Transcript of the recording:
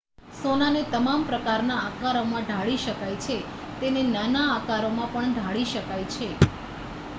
સોનાને તમામ પ્રકારના આકારોમાં ઢાળી શકાય છે તેને નાના આકારોમાં પણ ઢાળી શકાય છે